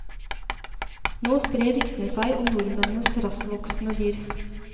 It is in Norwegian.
Nå sprer ryktene seg om nordmennenes rasktvoksende dyr.